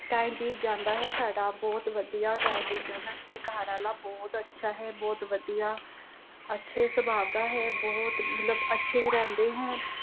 time ਬੀਤ ਜਾਂਦਾ ਹੈ ਸਾਡਾ ਬਹੁਤ ਵਧੀਆ time ਬੀਤ ਜਾਂਦਾ ਮੇਰੇ ਘਰਵਾਲਾ ਬਹੁਤ ਅੱਛਾ ਹੈ ਬਹੁਤ ਵਧੀਆ ਅਹ ਅੱਛੇ ਸੁਭਾ ਕਾ ਹੈ ਬਹੁਤ ਮਤਲਬ ਅੱਛੇ ਰਹਿੰਦੇ ਹੈ।